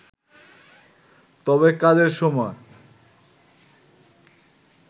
তবে কাজের সময়